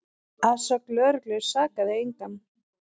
Að sögn lögreglu sakaði engan